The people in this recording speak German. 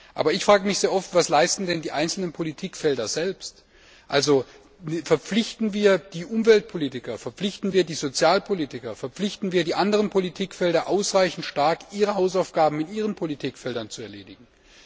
Aber ich frage mich sehr oft, was denn die einzelnen Politikfelder selbst leisten. Also verpflichten wir die Umweltpolitiker, verpflichten wir die Sozialpolitiker, verpflichten wir die anderen Politikfelder ausreichend stark, ihre Hausaufgaben in ihren Bereichen zu erledigen?